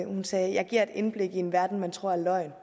sagde giver et indblik i en verden man tror er løgn